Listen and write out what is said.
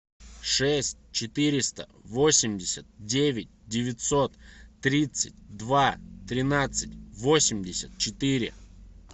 шесть четыреста восемьдесят девять девятьсот тридцать два тринадцать восемьдесят четыре